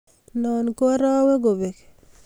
noo ko araweekobek.